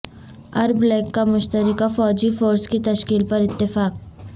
عرب league کا مشترکہ فوجی فورس کی تشکیل پر اتفاق